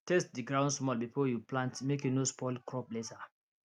test the ground small before you plant make e no spoil crop later